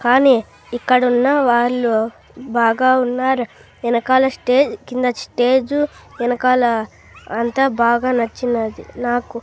కానీ ఇక్కడున్న వారిలో బాగా ఉన్నారు ఎనకాల స్టేజ్ కింద స్టేజు ఎనకాల అంతా బాగా నచ్చినది నాకు.